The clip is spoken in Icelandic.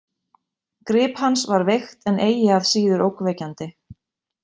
Grip hans var veikt en eigi að síður ógnvekjandi.